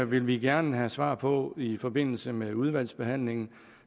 vil vi gerne have svar på i forbindelse med udvalgsbehandlingen